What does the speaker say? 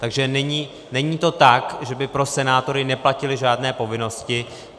Takže není to tak, že by pro senátory neplatily žádné povinnosti.